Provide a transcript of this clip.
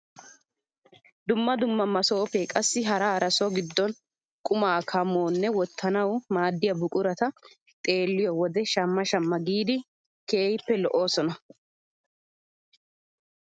Dumma dumma masoopee qassi hara hara so giddon qumaa kammawunne woottanwu maaddiyaa buqurata xeelliyoo wode shamma shamma giidi keehippe lo"oosona.